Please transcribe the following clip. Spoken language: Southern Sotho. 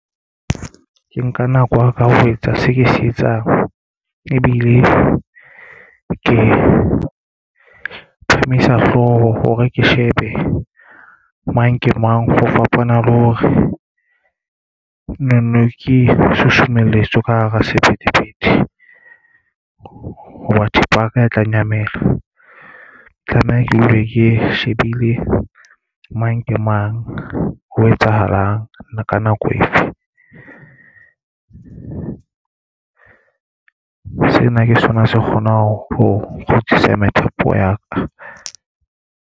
Ke nka nako ya ka ho etsa seo ke se etsang ebile ke phamisa hlooho hore ke shebe mang ke mang. Ho fapana le hore ne neng ke susumeletswa ka hara sephethephethe. Hoba thepa ya ka e tla nyamela tlameha ke dule ke shebile mang ke mang o etsahalang ka nako efe o sena ke sona se kgonang ho kgutsisa methapo ya ka.